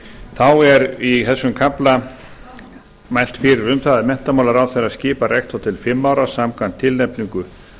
þá er í þessum kafla mælt fyrir um það að menntamálaráðherra skipar rektor til fimm ára samkvæmt tilnefningu